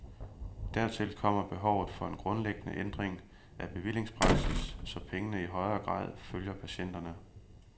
Dertil kommer behovet for en grundlæggende ændring af bevillingspraksis, så pengene i højere grad følger patienterne.